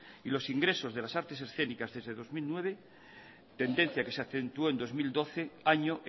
y los ingresos de las artes escénicas desde dos mil nueve tendencia que se acentuó en dos mil doce año